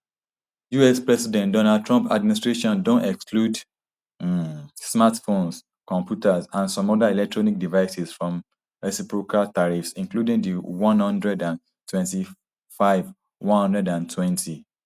us president donald trump administration don exclude um smartphones computers and some oda electronic devices from reciprocal tariffs including di one hundred and twenty-five one hundred and twenty-five levies